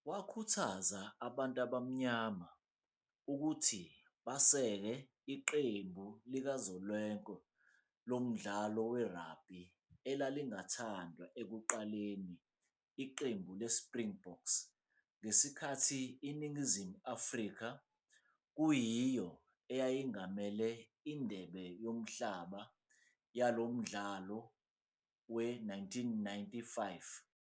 Wakhuthaza abantu abamnyama ukuthi basekele iqembu likazwelonke lomdlalo we-rugby elalingathandwa ekuqaleni, iqembu le-Springboks, ngesikhathi iNingizimu Afrika, kuyiyo eyayingamele indebe yomhlaba yalo mhlalo we-1995 Rugby World Cup.